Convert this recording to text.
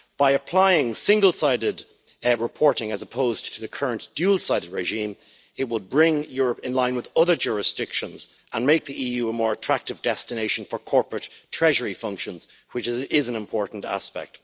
By applying single-sided reporting as opposed to the current dual sided regime, it would bring Europe in line with other jurisdictions and make the EU more attractive destination for corporate treasury functions, which is an important aspect.